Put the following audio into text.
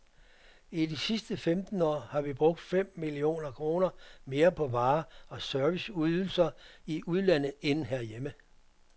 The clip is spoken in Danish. I de sidste femten år har vi brugt fem millioner kroner mere på varer og serviceydelser i udlandet end hjemme.